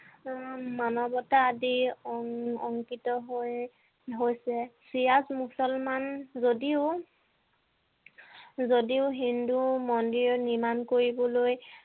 উম মানৱতা আদি অং~অংকিত হৈ~হৈছে চিৰাজ মুছলমান যদিও যদিও হিন্দু মন্দিৰ নিৰ্মাণ কৰিবলৈ